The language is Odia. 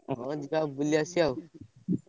ହଉ ଯିବା ବୁଲି ଆସିବା ଆଉ।